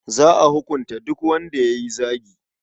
Za a hukunta duk wanda ya yi zagi.